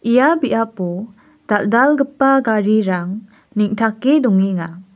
ia biapo dal·dalgipa garirang neng·take dongenga.